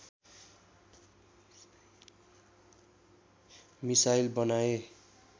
missile बनाए